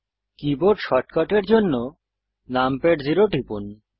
keyboard শর্টকাটের জন্য numpad 0 টিপুন